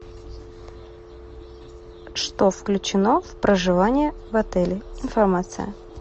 что включено в проживание в отеле информация